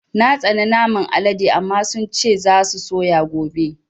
Na tsana naman Alaɗe amma sun ce za su sayo gobe